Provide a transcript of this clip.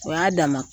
O y'a dama